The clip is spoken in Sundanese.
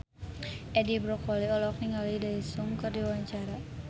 Edi Brokoli olohok ningali Daesung keur diwawancara